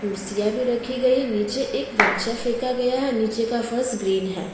कुर्सियां भी रखी गई है नीचे एक गमछा फेका गया है नीचे का फर्श ग्रीन है।